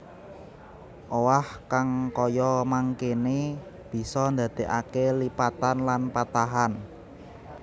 Owah kang kaya mangkéne bisa ndandékaké lipatan lan patahan